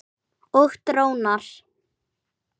Og drónar.